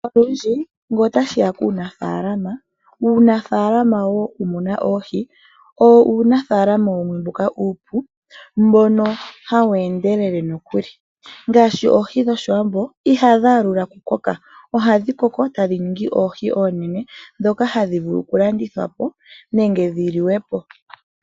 Olundji ngele otashiya kuunafaalama Uunafalama wokumuna oohi owo uunafalama wumwe mboka uupu mbono hawu endelele nokuli ngaashi oohi dhoshiwambo ihadhi aludha okukoka ohadhi koko tadhi ningi oohi oonene ndhoka hadhi vulu okulandithwa po nenge dhi liwe po.